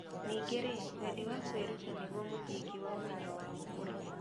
Ningĩ-rĩ, wendi wa kwĩruta nĩguo mũthingi wa ũmenyo wa gũkũra.